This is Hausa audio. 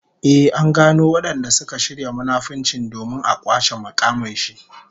Ehh, an gano wadanda suka shirya munafunci domin a kwace mukamin shi